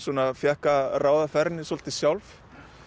fékk að ráða ferðinni svolítið sjálf